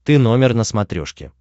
ты номер на смотрешке